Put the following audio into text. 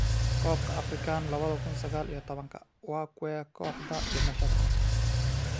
Kobka Afrikan labada kun sagal iyo tobanka: Waa kuwee kooxda 'dhimashada'?